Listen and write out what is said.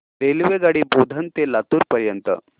रेल्वेगाडी बोधन ते लातूर पर्यंत